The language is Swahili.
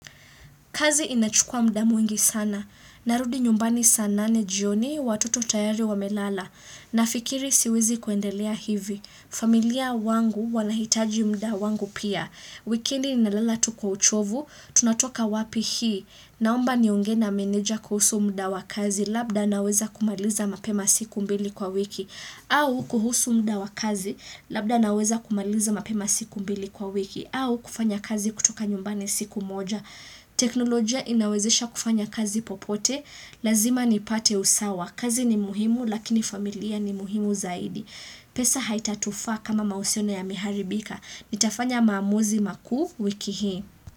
Kazi inachukua muda mwingi sana. Narudi nyumbani saa nane jioni, watoto tayari wamelala. Nafikiri siwezi kuendelea hivi. Familia wangu wanahitaji muda wangu pia. Wikendi nalala tu kwa uchovu. Tunatoka wapi hii. Naomba niongee na meneja kuhusu muda wa kazi labda naweza kumaliza mapema siku mbili kwa wiki. Au kuhusu muda wa kazi labda naweza kumaliza mapema siku mbili kwa wiki. Au kufanya kazi kutoka nyumbani siku moja. Teknolojia inawezesha kufanya kazi popote, lazima nipate usawa. Kazi ni muhimu lakini familia ni muhimu zaidi pesa haitatufaa kama mahusiano yameharibika. Nitafanya maamuzi makuu wiki hii.